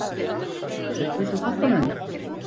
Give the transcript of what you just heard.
Bjarnfreður, viltu hoppa með mér?